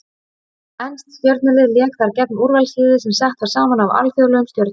Enskt stjörnulið lék þar gegn úrvalsliði sem sett var saman af alþjóðlegum stjörnum.